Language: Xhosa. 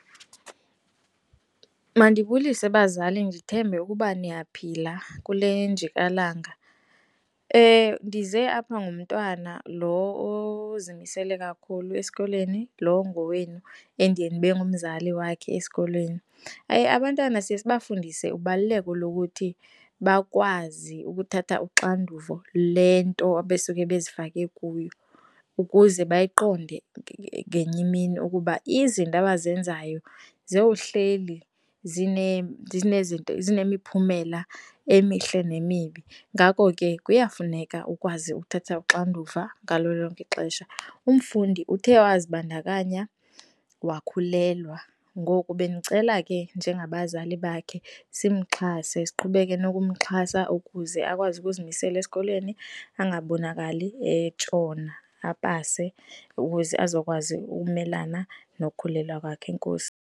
Mandibulise, bazali, ndithembe ukuba niyaphila kule njikalanga. Ndize apha ngomntwana lo ozimisele kakhulu esikolweni, lo ongowenu endiye ndibe ngumzali wakhe esikolweni. Abantwana siye sibafundise ubaluleko lokuthi bakwazi ukuthatha uxanduvo le nto abesuke bezifake kuyo ukuze bayiqonde ngenye imini ukuba izinto abazenzayo zowuhleli zinemiphumela emihle nemibi. Ngako ke, kuyafuneka ukwazi uthatha uxanduva ngalo lonke ixesha. Umfundi uthe wazibandakanya, wakhulelwa. Ngoku bendicela ke njengabazali bakhe simxhase siqhubeke nokumxhasa ukuze akwazi ukuzimisela esikolweni angabonakali etshona, apase ukuze azokwazi ukumelana nokukhulelwa kwakhe. Enkosi.